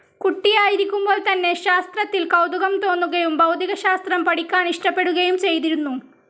കുട്ടിയായിരിക്കുമ്പോൾ തന്നെ ശാസ്ത്രത്തിൽ കൗതുകം തോന്നുകയും ഭൗതികശാസ്ത്രം പഠിക്കാനിഷ്ടപ്പെടുകയും ചെയ്തിരുന്നു.